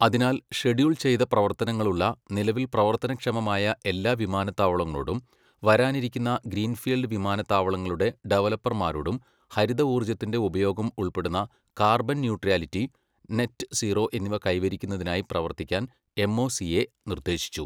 അതിനാൽ, ഷെഡ്യൂൾ ചെയ്ത പ്രവർത്തനങ്ങളുള്ള, നിലവിൽ പ്രവർത്തനക്ഷമമായ എല്ലാ വിമാനത്താവളങ്ങളോടും, വരാനിരിക്കുന്ന ഗ്രീൻഫീൽഡ് വിമാനത്താവളങ്ങളുടെ ഡവലപ്പർമാരോടും ഹരിത ഊർജ്ജത്തിന്റെ ഉപയോഗം ഉൾപ്പെടുന്ന കാർബൺ ന്യൂട്രാലിറ്റി, നെറ്റ് സീറോ എന്നിവ കൈവരിക്കുന്നതിനായി പ്രവർത്തിക്കാൻ എംഒസിഎ നിർദ്ദേശിച്ചു.